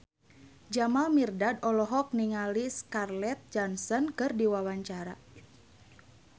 Jamal Mirdad olohok ningali Scarlett Johansson keur diwawancara